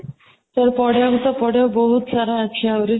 ସେ ପଢିବା ବି ତ ପଢିବା ବହୁତ ସାରା ଅଛି ଆହୁରି